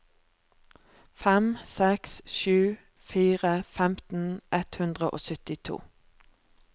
fem seks sju fire femten ett hundre og syttito